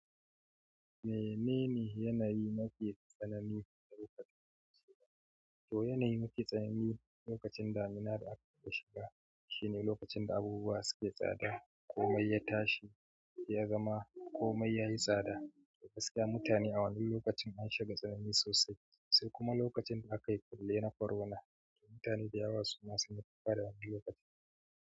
Me nene yanayi na ke tsanani lokacin shiga? Toh yanayi na ke tsanani lokacin damina da aka shiga shine lokacin da abubuwa suke tsada komai ya tashi ya zama komai yayi tsada, gaskiya mutane a wannan lokacin an shiga tsanani sosai, sai kuma lokacin da aka yi kulle na korona, mutane da yawa suna son yadda suka fara wannan lokaci.